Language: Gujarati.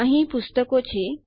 અહીં પુસ્તકો છે